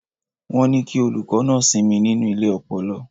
Wọ́n ní kí olùkọ́ náà sinmi nínú ilé ọpọlọ.